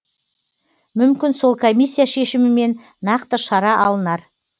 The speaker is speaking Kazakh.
мүмкін сол комиссия шешімімен нақты шара алынар